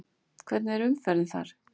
Hvernig er umferðin þar?